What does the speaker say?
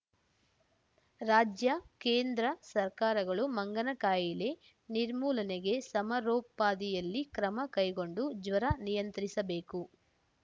ರಾಜ್ಯ ಕೇಂದ್ರ ಸರ್ಕಾರಗಳು ಮಂಗನ ಕಾಯಿಲೆ ನಿರ್ಮೂಲನೆಗೆ ಸಮರೋಪಾದಿಯಲ್ಲಿ ಕ್ರಮ ಕೈಗೊಂಡು ಜ್ವರ ನಿಯಂತ್ರಿಸಬೇಕು